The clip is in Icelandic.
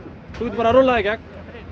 bara rúlla í gegn